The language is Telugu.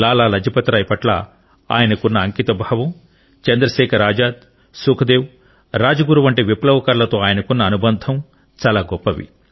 లాలా లాజ్పత్ రాయ్ పట్ల ఆయనకున్న అంకితభావం చంద్రశేఖర్ ఆజాద్ సుఖ్దేవ్ రాజ్గురు వంటి విప్లవకారులతో ఆయనకున్న అనుబంధం చాలా గొప్పది